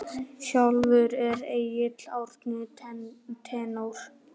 Sjálfur er Egill Árni tenór.